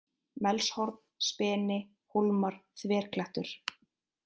Melshorn, Speni, Hólmar, Þverklettur